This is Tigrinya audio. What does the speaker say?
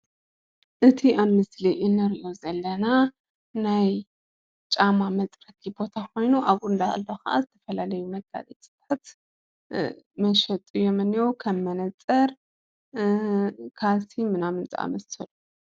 እቲ ኣብ ምስሊ እንሪኦ ዘለና ናይ ጫማ መፅረጊ ቦታ ኮይኑ ኣብኡ እናሃለየ ኸዓ ዝተፈላለዩ መጋየፅታት መሸጢ እዮም እነሄው ከም መነፀር ፣ካልሲ፣ ምናምን ዝኣመሰሉ።